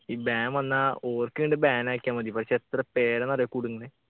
ഈ ban വന്നാ ഓർക്ക് അങ്ങട് ban ആക്കിയ മതി പക്ഷെ എത്ര പേരാന്നറിയോ കുടുങ്ങുന്നേ